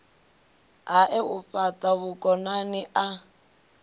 hae u fhata vhukonani a